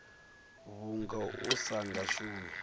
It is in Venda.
vhunga u sa nga shumi